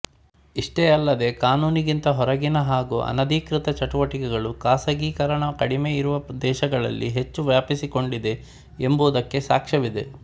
ಇಷ್ಟೇ ಅಲ್ಲದೆ ಕಾನೂನಿಗಿಂತ ಹೊರಗಿನ ಹಾಗೂ ಅನಧಿಕೃತ ಚಟುವಟಿಕೆಗಳು ಖಾಸಗೀಕರಣ ಕಡಿಮೆ ಇರುವ ದೇಶಗಳಲ್ಲಿ ಹೆಚ್ಚು ವ್ಯಾಪಿಸಿಕೊಂಡಿದೆ ಎಂಬುದಕ್ಕೆ ಸಾಕ್ಷ್ಯವಿದೆ